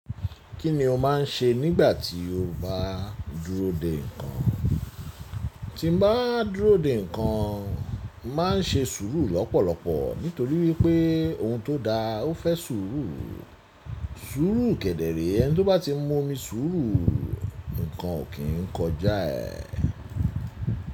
Kí ni o máà ń ṣe nígbà tí o bá dúró dè nǹkan? Tí mo bá dúró dè nǹkan, mo màá ń ṣe sùúrù lọ́pọ̀lọpọ̀ nítorí wípé ohun tó da ó fẹ́ sùúrù. Sùúrù kẹ́dẹ̀ẹ̀rẹ̀ ẹni tó bá ti mu omi sùúrù, nǹkan ò kí ń kọjá ẹ̀.